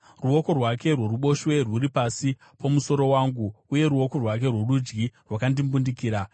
Ruoko rwake rworuboshwe rwuri pasi pomusoro wangu, uye ruoko rwake rworudyi rwakandimbundikira.